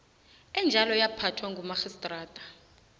enjalo yaphathwa ngumarhistrata